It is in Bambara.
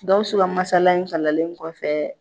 Gawusu ka masaala in kalanlen kɔfɛ